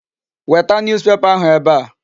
Weta newspaper ahụ ebe a.